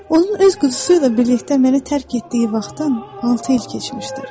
Onun öz quzusu ilə birlikdə məni tərk etdiyi vaxtdan altı il keçmişdir.